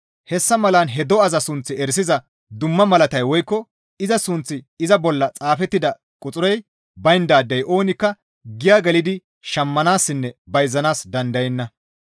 Hessa malan he do7aza sunth erisiza dumma malatay woykko iza sunththi iza bolla xaafettida quxurey bayndaadey oonikka giya gelidi shammanaassinne bayzanaas dandayenna.